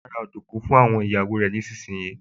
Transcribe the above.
Bàbá ra ọ̀dùnkún fún àwọn ọmọ nísinsìnyí